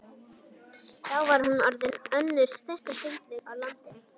Þá var hún orðin önnur stærsta sundlaug á landinu.